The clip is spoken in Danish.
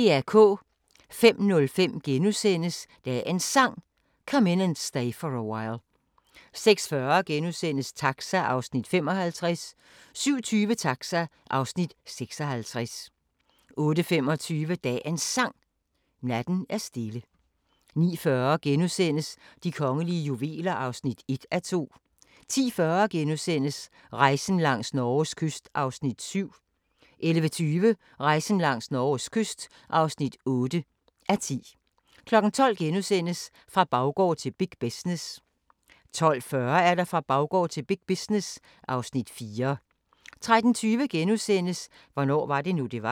05:05: Dagens Sang: Come In And Stay For A While * 06:40: Taxa (55:56)* 07:20: Taxa (56:56) 08:25: Dagens Sang: Natten er stille 09:40: De kongelige juveler (1:2)* 10:40: Rejsen langs Norges kyst (7:10)* 11:20: Rejsen langs Norges kyst (8:10) 12:00: Fra baggård til big business * 12:40: Fra baggård til big business (Afs. 4) 13:20: Hvornår var det nu, det var? *